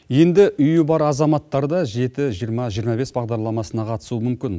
енді үйі бар азаматтар да жеті жиырма жиырма бес бағдарламасына қатысуы мүмкін